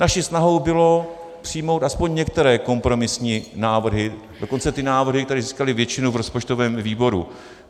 Naší snahou bylo přijmout aspoň některé kompromisní návrhy, dokonce ty návrhy, které získaly většinu v rozpočtovém výboru.